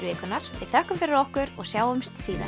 vikunnar við þökkum fyrir okkur og sjáumst síðar